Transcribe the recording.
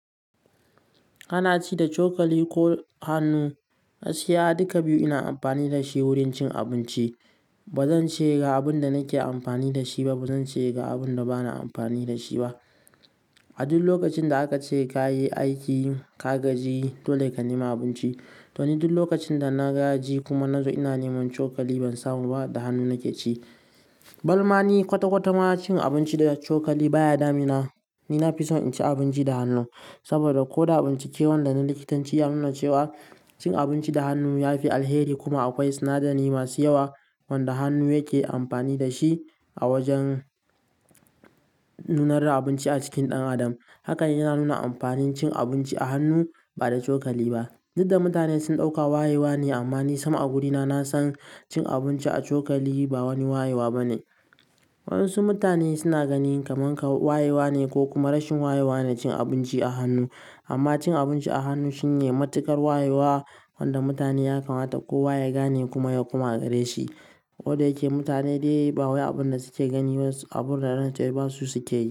Ana ci da cokali ko hannu? Gaskiya duka biyu ina amfani da shi wurin cin abinci. Ba zan ce ga abin da nake amfani da shi ba, ba zan ce ga abin da bana amfani da shi ba. A duk lokacin da aka ce ka yi aiki, ka gaji, dole ka nema abinci. To ni duk lokacin da na gaji kuma na zo ina neman cokali, ban samu ba, da hannu nake ci. Balma ni kwata-kwata ma cin abinci da cokali baya damina. Ni nafison in ci abinci da hannu saboda ko da abincin ke wannan da na likitanci ya nuna cewa cin abinci da hannu ya fi alheri kuma akwai sinadari masu yawa wanda hannu yake amfani da shi a wajen nunar da abinci a cikin ɗan adam. Haka yana nuna amfanin cin abinci a hannu ba da cokali ba. Dukda mutane sun ɗauka wayewa ne amma ni sam a wurina na san cin abinci a cokali ba wani wayewa bane. Wasu mutane suna ganin kamar wayewa ne ko kuma rashin wayewa ne cin abinci a hannu amma cin abinci a hannu shine matuƙar wayewa wanda mutane ya kamata kowa ya gane kuma ya koma a gare shi. Koda yake mutane dai ba wai abin da suke gani wasu abun da rance basu sukeyi.